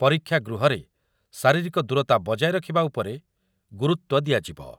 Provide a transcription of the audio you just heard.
ପରୀକ୍ଷା ଗୃହରେ ଶାରିରୀକ ଦୂରତା ବଜାୟ ରଖିବା ଉପରେ ଗୁରୁତ୍ୱ ଦିଆଯିବ ।